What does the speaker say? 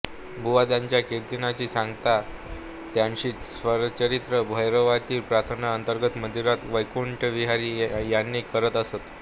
बुवा त्यांच्या कीर्तनाची सांगता त्यांचीच स्वरचित भैरवीतील प्रार्थना अंतरात मंदिरात वैकुंठ विहारी याने करत असत